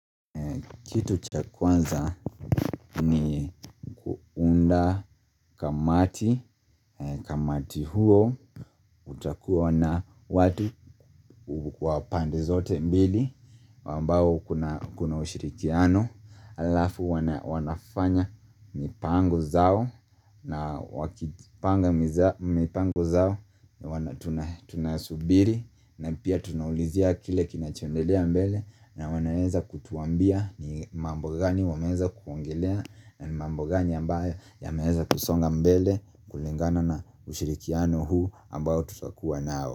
Kitu cha kwanza ni nda kamati, kamati huo, utakuwa na watu wa pande zote mbili, ambao kuna ushirikiano, alafu wanafanya mipango zao, na wakipanga mipango zao, wana tunasubiri, na pia tunaulizia kile kinachondelea mbele, na wanaeza kutuambia ni mambo gani wameweza kuongelea, na ni mambo gani ambayo yameweza kusonga mbele kulingana na ushirikiano huu ambayo tutakuwa nao.